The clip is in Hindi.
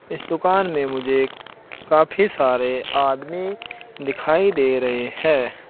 इस दुकान में मुझे एक काफी सारे आदमी दिखाई दे रहे हैं।